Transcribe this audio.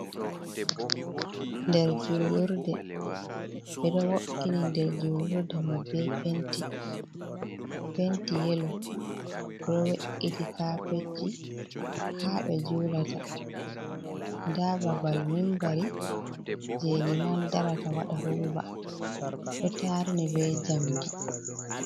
Ɗer julurɗe, be ɗo wo’ini nɗer julurɗe mai be penti, penti yelo. Beɗo wo’iti kapetji ha be julata. Nɗa babal mimbari, je liman ɗarata waɗa huɗuba ɗo tarni be jamɗi.